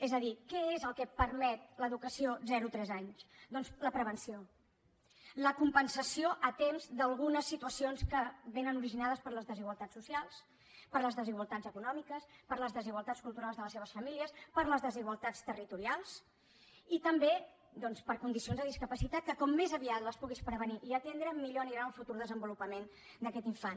és a dir què és el que permet l’educació zero tres anys doncs la prevenció la compensació a temps d’algunes situacions que són originades per les desigualtats socials per les desigualtats econòmiques per les desigualtats culturals de les seves famílies per les desigualtats territorials i també per condicions de discapacitat que com més aviat les puguis prevenir i atendre millor anirà el futur desenvolupament d’aquest infant